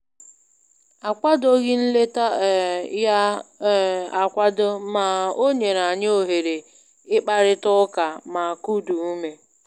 Akwadoghị nleta um ya um akwado, ma o nyere anyị ohere ịkparịta ụka ma kuda ume